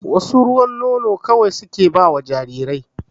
Wasu ruwan nono kawai suke ba ma jarirai